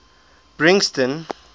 brixton